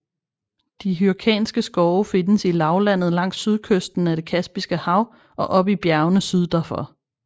De Hyrkanske skove findes i lavlandet langs sydkysten af det Kaspiske hav og op i bjergene syd derfor